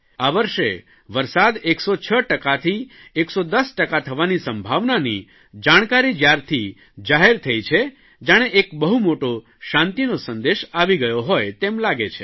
આ વર્ષે વરસાદ 106 ટકાથી 110 ટકા થવાની સંભાવનાની જાણકારી જયારથી જાહેર થઇ છે જાણે એક બહુ મોટો શાંતિનો સંદેશ આવી ગયો હોય તેમ લાગે છે